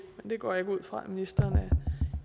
går jeg ikke ud fra at ministeren er